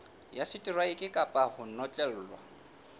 ya seteraeke kapa ho notlellwa